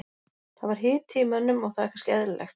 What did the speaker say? Það var hiti í mönnum og það er kannski eðlilegt.